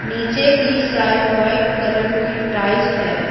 नीचे की side white colour की टाइस है।